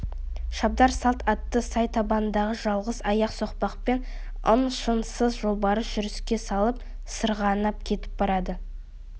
шабдар салт атты сай табанындағы жалғыз аяқ соқпақпен ың-шыңсыз жолбарыс жүріске салып сырғанап кетіп барады